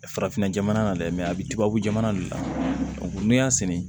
Farafinna jamana na dɛ mɛ a bɛ tubabu jamana de la n'i y'a sɛnɛ